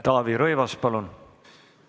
Taavi Rõivas, palun!